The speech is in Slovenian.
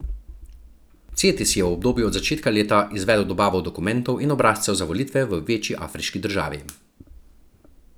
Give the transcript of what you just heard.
Cetis je v obdobju od začetka leta izvedel dobavo dokumentov in obrazcev za volitve v večji afriški državi.